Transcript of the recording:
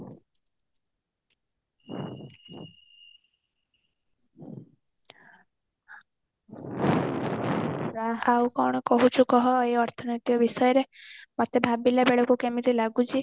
ଆଉ କଣ କହୁଛୁ କହ ଏଇ ଅର୍ଥନୈତିକ ବିଷୟରେ ମତେ ଭବିଲା ବେଳକୁ କେମିତି ଲାଗୁଛି